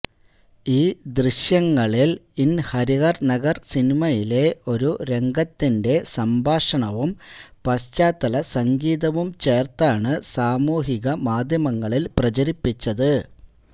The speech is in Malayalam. ഈ ദൃശ്യങ്ങളില് ഇന് ഹരിഹര് നഗര് സിനിമയിലെ ഒരു രംഗത്തിന്റെ സംഭാഷണവും പശ്ചാത്തല സംഗീതവും ചേര്ത്താണ് സാമൂഹികമാധ്യമങ്ങളില് പ്രചരിപ്പിച്ചത്